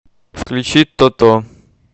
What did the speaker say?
включи тото